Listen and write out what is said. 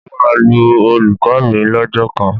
Mo máa lu olùkọ́ mi lọ́jọ́ kan